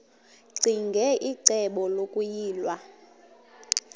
ccinge icebo lokuyilwa